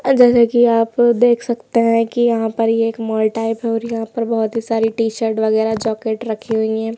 जैसे कि आप देख सकते हैं कि यहां पर एक मॉल टाइप और यहां पर बहोत ही सारी टी-शर्ट वगैरा जॅकेट रखी हुई है।